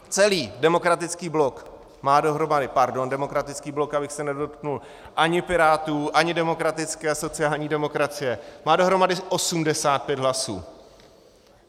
Celý Demokratický blok má dohromady - pardon, Demokratický blok, abych se nedotknul ani Pirátů, ani demokratické a sociální demokracie - má dohromady 85 hlasů.